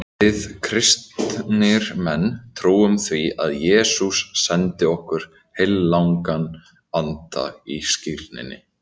Við kristnir menn trúum því að Jesús sendi okkur heilagan anda í skírninni.